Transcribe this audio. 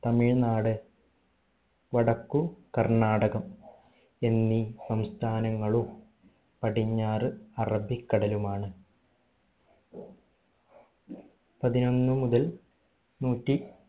തമിഴ് നാട് വടക്കു കർണ്ണാടകം എന്നീ സംസ്ഥാനങ്ങളും പടിഞ്ഞാറ് അറബിക്കടലുമാണ് പതിനൊന്ന് മുതൽ നൂറ്റി